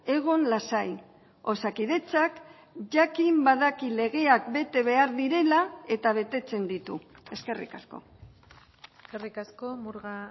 egon lasai osakidetzak jakin badaki legeak bete behar direla eta betetzen ditu eskerrik asko eskerrik asko murga